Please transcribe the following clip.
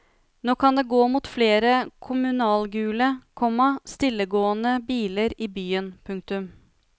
Nå kan det gå mot flere kommunalgule, komma stillegående biler i byen. punktum